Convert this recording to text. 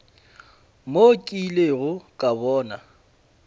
mo ke ilego ka bona